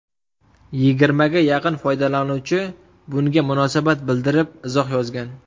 Yigirmaga yaqin foydalanuvchi bunga munosabat bildirib izoh yozgan.